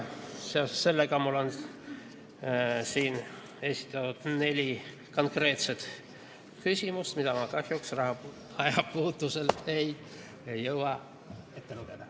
Seoses sellega on mul siin esitatud neli konkreetset küsimust, mida ma kahjuks ajapuudusel ei jõua ette lugeda.